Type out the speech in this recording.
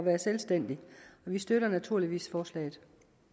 er selvstændig vi støtter naturligvis forslaget